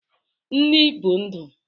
Nni bu ndu